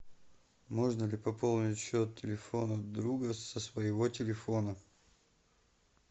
можно ли пополнить счет телефона друга со своего телефона